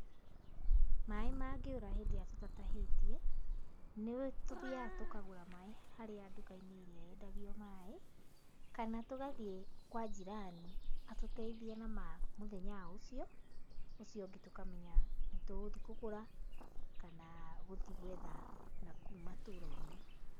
Maaĩ mangĩrũa hĩndĩ ĩrĩa tũtatahĩtie, nĩtũthiaga tũkagũra maaĩ harĩa nduka-inĩ ĩrĩa yendagio maaĩ, kana tũkathiĩ kwa njirani, atũteithie na ma mũthenya ũcio, ũcio ũngĩ tũkamenya, nĩtũgũthii kũgũra kana gũthi gũetha nakũu matũra-inĩ.